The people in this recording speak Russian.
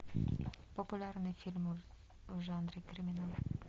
популярные фильмы в жанре криминал